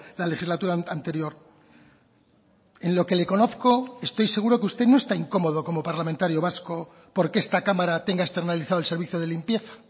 la legislatura anterior en lo que le conozco estoy seguro que usted no está incomodo como parlamentario vasco porque esta cámara tenga externalizado el servicio de limpieza